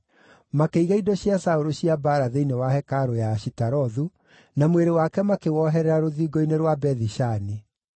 Makĩiga indo cia Saũlũ cia mbaara thĩinĩ wa hekarũ ya Ashitarothu, na mwĩrĩ wake makĩwoherera rũthingo-inĩ rwa Bethi-Shani.